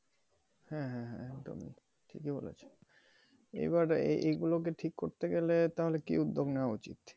হ্যাঁ হ্যাঁ হ্যাঁ, একদমই ঠিকই বলেছ। এবার এই গুলোকে ঠিক করতে গেলে তাহলে কি উদ্যোগ নেওয়া উচ্ছিত?